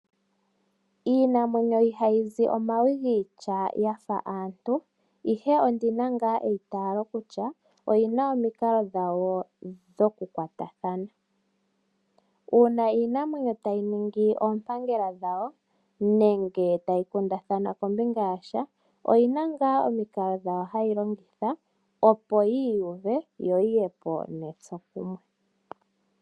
Iinamwenyo ihayi zi omawi giitya yafa aantu, ihe ondina nga eitalo kutya oyina omikalo dhawo dhoku kwatathana. Una iinamwenyo tayi ningi oompangela dhawo, nenge tayi kundathana kombinga yasha, oyina nga omikalo dhawo hayi longitha opo yi iyuve, yo yiye po netsokumwe.